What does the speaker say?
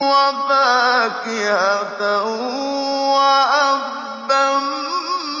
وَفَاكِهَةً وَأَبًّا